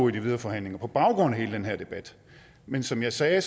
i de videre forhandlinger på baggrund af hele den her debat men som jeg sagde